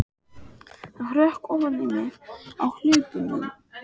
Það hrökk ofan í mig á hlaupunum.